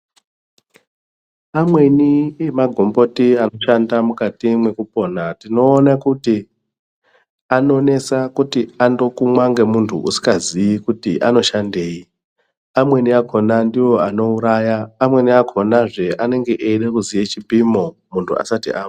Amweni emagomboti anoshanda mukati mwekupona tinoone kuti anonesa kuti andokumwa ngemuntu usingaziyi kuti anoshandeyi amweni akhona ndiwo anouraya amweni akhona zve anenge eyida kuziye chipimo muntu asati amwa.